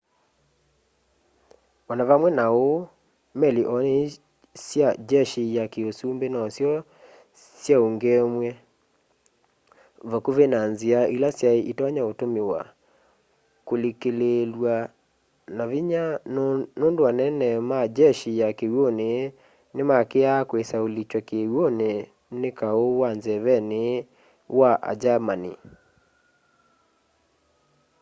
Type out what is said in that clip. o na vamwe na uu meli o nini sya jeshi ya kiusumbi nosyo syaungeemw'e vakuvi na nzia ila syai itonya utumiwa kulikililwa na vinya nundu anene ma jeshi ya kiw'uni ni maakiaa kwisa ulikywa kiw'uni ni kau wa nzeveni wa a german